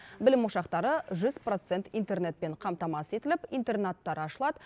білім ошақтары жүз процент интернетпен қамтамасыз етіліп интернаттар ашылады